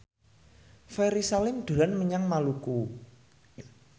Ferry Salim dolan menyang Maluku